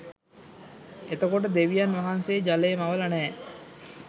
එතකොට දෙවියන් වහන්සේ ජලය මවල නෑ